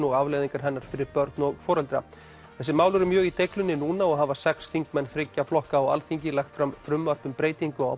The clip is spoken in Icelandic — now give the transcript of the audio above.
afleiðingar hennar fyrir börn og foreldra þessi mál eru mjög í deiglunni núna og hafa sex þingmenn þriggja flokka á Alþingi lagt fram frumvarp um breytingu á